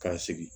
K'a sigi